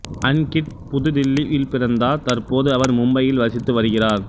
அன்கிட் புது தில்லி யில்பிறந்தார் தற்போது அவர் மும்பையில் வசித்து வருகிறார்